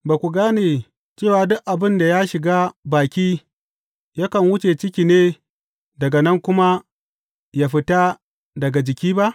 Ba ku gane cewa duk abin da ya shiga baki yakan wuce ciki ne daga nan kuma yă fita daga jiki ba?